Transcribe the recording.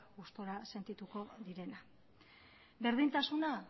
gustora sentituko direna berdintasuna